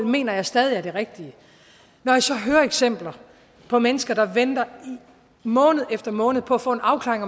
mener jeg stadig er det rigtige når jeg så hører eksempler på mennesker der venter måned efter måned på at få en afklaring